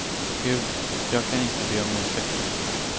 Gud, jag kan inte be om ursäkt.